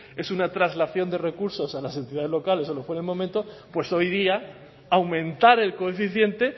es una traslación de recursos a las entidades locales o lo que fue en el momento pues hoy día aumentar el coeficiente